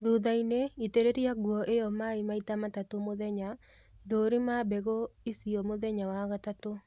Thuthainĩ itĩrĩria nguo iyo maĩĩ maita matatũ mũthenya, thũrima mbegũ icio mũthenya wa gatatũ